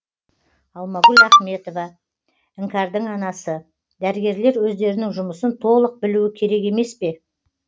алмагүл ахметова іңкәрдің анасы дәрігерлер өздерінің жұмысын толық білуі керек емес пе